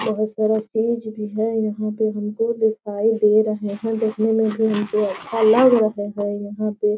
बहोत सारा स्टेज भी है। यहाँ पे हमको दिखाई दे रहा है। देखने में भी हमको अच्छा लग रहा है। यहाँ पे --